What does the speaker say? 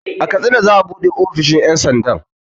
A katsina za'a buɗe ofishin ƴan sandan